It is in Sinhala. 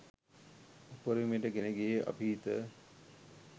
උපරිමයට ගෙන ගියේ අභීත.